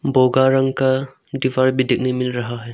बोगा रंग का दीवार भी देखने मिल रहा है।